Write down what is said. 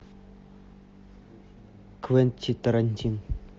квентин тарантино